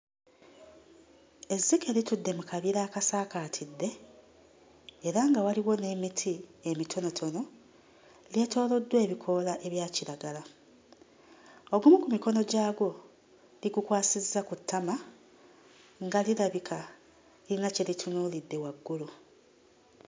Ezzike litudde mu kabira akasaakaatidde era nga waliwo n'emiti emitonotono lyetooloddwa ebikoola ebya kiragala. Ogumu ku mikono gyagwo ligukwasizza ku ttama nga lirabika lirina kye litunuulidde waggulu.